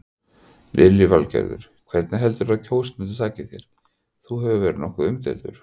Lillý Valgerður: Hvernig heldurðu að kjósendur taki þér, þú hefur verið nokkuð umdeildur?